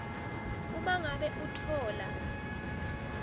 uma ngabe utfola